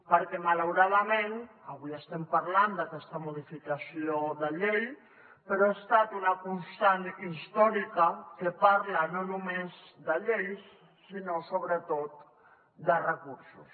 perquè malauradament avui estem parlant d’aquesta modificació de llei però ha estat una constant històrica que parla no només de lleis sinó sobretot de recursos